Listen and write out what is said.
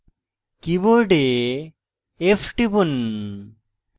keyboard f টিপুন